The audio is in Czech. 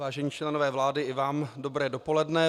Vážení členové vlády, i vám dobré dopoledne.